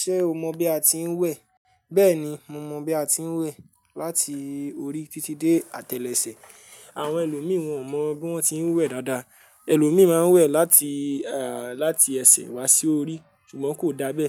Ṣé o mọ bí a ti ń wẹ̀? Bẹ́ẹ̀ni, mo mọ bí a ti ń wẹ̀. Láti orí títí dé àtẹlẹsẹ̀. Àwọn ẹlòmí wòn mọ bí wọ́n ti ń wẹ̀ dáadáa. Ẹlòmí maa n wẹ̀ láti, à, láti ẹsẹ̀ wá sí orí, ṣùgbọ́n kò dábẹ́.